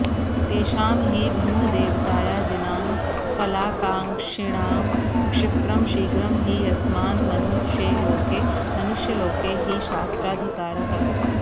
तेषां हि भिन्नदेवतायाजिनां फलाकाङ्क्षिणां क्षिप्रं शीघ्रं हि यस्मान्मनुषेलोके मनुष्यलोके हि शास्राधिकारः